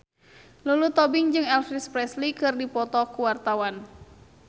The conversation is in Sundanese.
Lulu Tobing jeung Elvis Presley keur dipoto ku wartawan